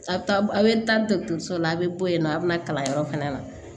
A bɛ taa a bɛ taa dɔkitɛriso la a bɛ bɔ yen nɔ a bɛ na kalanyɔrɔ fana na